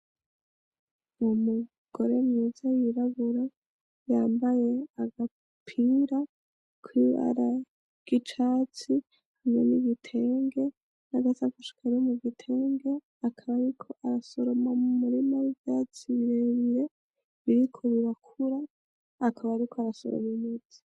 Umugore mwiza y'irabura, yambaye agapira k'ibara ry'icatsi, hamwe n'igitenge n'agasakoshi kari mugitenge, akaba ariko arasoroma m'umurima w'ivyatsi birebire biriko birakura akaba ariko arasoroma imizi.